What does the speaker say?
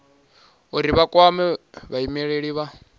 uri vha kwame vhaimeleli vha